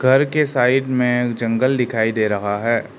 घर के साइड में जंगल दिखाई दे रहा है।